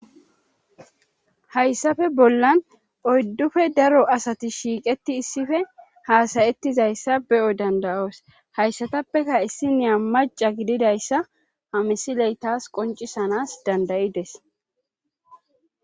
hayssafe bollan oyddufe daro asati shiiqetti issife haasayettizayssa beyoy dandayoos hayssatappeka issi niya maca gididayssa ha misiley taas qoncisanas dandayides